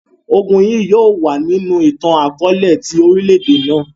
Ogun yii yóò wa ninu itan-akọọlẹ ti orilẹ-ede naa.